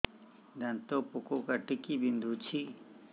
ଦାନ୍ତ ପୋକ କାଟିକି ବିନ୍ଧୁଛି